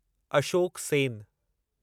Ashok Sen